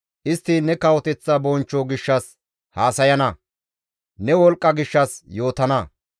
Istti ne kawoteththa bonchcho gishshas haasayana; ne wolqqa gishshas yootana.